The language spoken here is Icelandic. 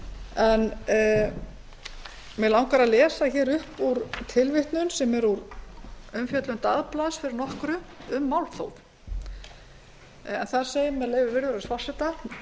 en mig langar að lesa upp úr tilvitnun sem er úr umfjöllun dagblaðs fyrir nokkru um málþóf þar segir með leyfi virðulegs forseta